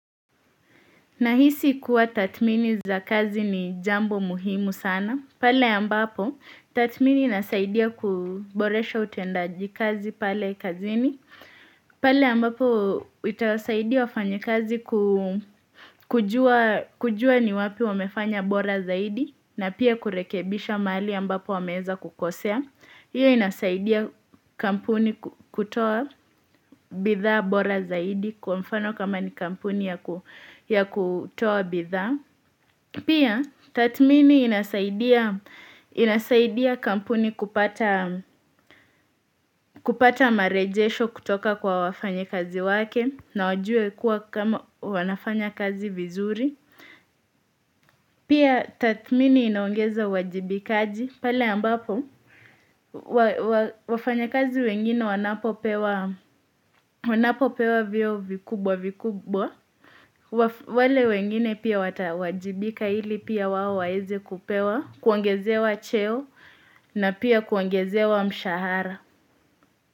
Nahisi kuwa tatmini za kazi ni jambo muhimu sana. Pale ambapo, tatmini inasaidia kuboresha utendaji kazi pale kazini. Pale ambapo, itasaidia wafanyekazi ku kujua kujua ni wapi wamefanya bora zaidi na pia kurekebisha maali ambapo wameeza kukosea. Iyo inasaidia kampuni ku kutoa bidhaa bora zaidi kwa mfano kama ni kampuni ya ku ya kutoa bidhaa Pia tatmini inasaidia inasaidia kampuni kupata kupata marejesho kutoka kwa wafanyikazi wake na wajue kuwa kama wanafanya kazi vizuri Pia tatmini inaongeza uwajibikaji pale ambapo wa wafanya kazi wengine wanapopewa wanapopewa vyeo vikubwa vikubwa waf wale wengine pia watawajibika ili pia wao waeze kupewa kuongozewa cheo na pia kuongozewa mshahara.